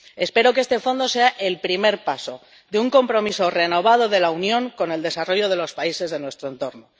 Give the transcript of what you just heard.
Espero que este fondo sea el primer paso de un compromiso renovado de la Unión con el desarrollo de los países de nuestro entorno.